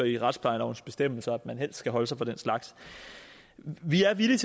i retsplejelovens bestemmelser at man helst skal holde sig fra den slags vi er villige